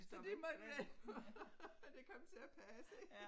Så de måtte vente på at det kom til at passe